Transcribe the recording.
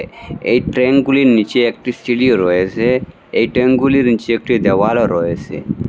এই ট্রেঙ্কগুলির নীচে একটি সিঁড়িও রয়েসে এই ট্রেঙ্কগুলির নীচে একটি দেয়ালও রয়েসে।